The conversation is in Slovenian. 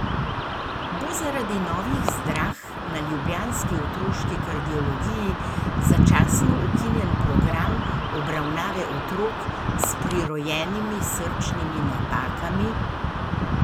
Bo zaradi novih zdrah na ljubljanski otroški kardiologiji začasno ukinjen program obravnave otrok s prirojenimi srčnimi napakami?